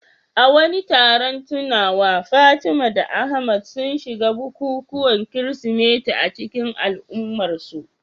A wani taron tunawa, Fatima da Ahmad sun shiga bukukuwan Kirsimeti a cikin al'ummarsu.